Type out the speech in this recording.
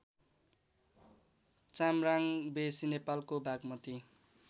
च्याम्राङबेसी नेपालको बागमती